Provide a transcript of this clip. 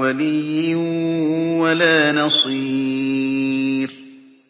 وَلِيٍّ وَلَا نَصِيرٍ